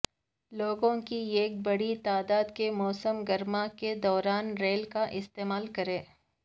لوگوں کی ایک بڑی تعداد کے موسم گرما کے دوران ریل کا استعمال کریں